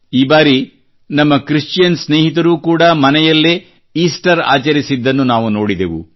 ಈ ಬಾರಿ ನಮ್ಮ ಕ್ರಿಶ್ಚಿಯನ್ ಸ್ನೇಹಿತರು ಕೂಡಾ ಮನೆಯಲ್ಲೇ ಈಸ್ಟರ್ ಆಚರಿಸಿದ್ದನ್ನು ನಾವು ನೋಡಿದೆವು